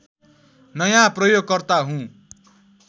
नयाँ प्रयोगकर्ता हुँ